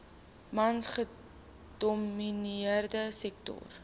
mans gedomineerde sektor